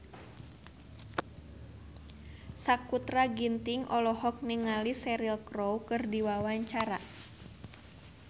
Sakutra Ginting olohok ningali Cheryl Crow keur diwawancara